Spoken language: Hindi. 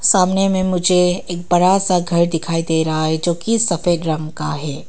सामने में मुझे एक बड़ा सा घर दिखाई दे रहा है जोकि सफेद रंग का है।